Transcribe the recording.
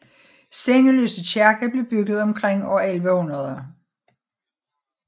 Sengeløse Kirke blev bygget omkring år 1100